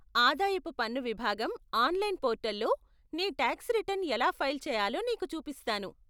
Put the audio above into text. ఆదాయపు పన్ను విభాగం ఆన్లైన్ పోర్టల్లో నీ టాక్స్ రిటర్న్ ఎలా ఫైల్ చేయాలో నీకు చూపిస్తాను.